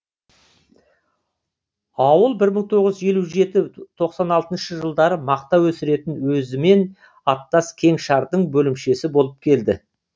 ауыл бір мың тоғыз жүз елу жеті тоқсан алтыншы жылдары мақта өсіретін өзімен аттас кеңшардың бөлімшесі болып келді